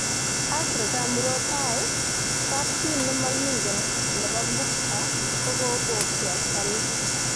Africa murot tai:Kapchi nemokingen nebo Gupta kokobokyi asikarik